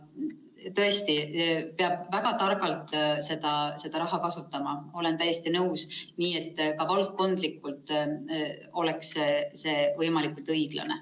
Tõesti, peab väga targalt seda raha kasutama, olen täiesti nõus, nii et ka valdkondlikult oleks see võimalikult õiglane.